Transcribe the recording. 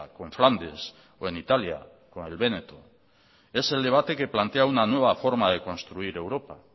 con flandes o en italia con el véneto es el debate que plantea una nueva forma de construir europa